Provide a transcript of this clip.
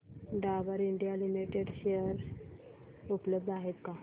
Dabur India limited share उपलब्ध आहेत का